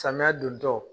Samiya dontɔ